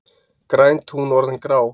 Græn tún orðin grá